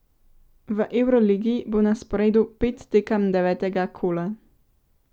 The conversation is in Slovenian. V evroligi bo na sporedu pet tekem devetega kola.